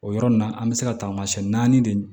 O yɔrɔ nin na an bɛ se ka taamasiyɛn naani de